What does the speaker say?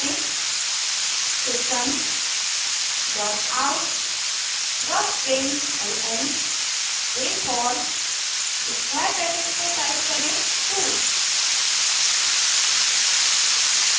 system dot out dot println rainfall square brackets में type करें 2